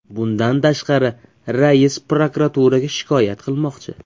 Bundan tashqari, rais prokuraturaga shikoyat qilmoqchi.